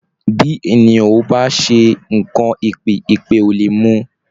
Bí ènìyàn ò bá ṣe nǹkan èpè, èpè ò lè mú-un